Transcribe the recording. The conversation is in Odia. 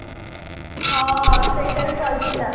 ହଁ ସେଇଡା ଭି ଭଲ ଥିଲା